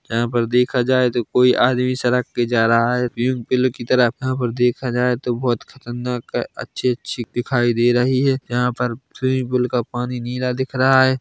यहाँ पर देखा जाए तो कोई आदमी सड़क पे जा रहा है पीऊँ पीलर की तरह यहाँ पर देखा जाये तो बहुत ही खतरनाक अच्छी- अच्छी दिखाई दे रही है ये यहाँ पर स्विमिंग पूल का पानी नीला दिख रहा हैं।